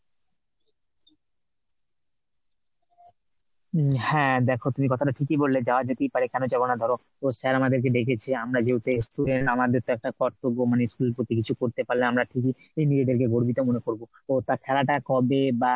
হ্যাঁ দেখো তুমি কথাটা ঠিকই বললে যাওয়া যেতেই পারে। কেন যাব না ধরো, sir আমাদেরকে ডেকেছে। আমরা যেহেতু ex student আমাদের তো একটা কর্তব্য মানে school প্রতি কিছু করতে পারলে আমরা খুবই নিজেদেরকে গর্বিত মনে করব তো তা খেলাটা কবে বা